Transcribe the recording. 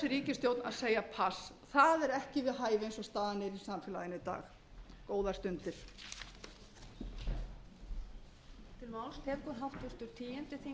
ríkisstjórn að segja pass það er ekki við hæfi eins og staðan er í samfélaginu í dag góðar stundir